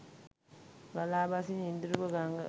ගලා බසින ඉඳුරුව ගඟ